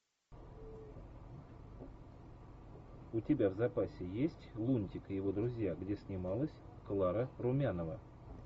у тебя в запасе есть лунтик и его друзья где снималась клара румянова